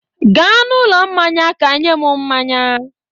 Gaa n'ụlọ mmanya ka nye m mmanya.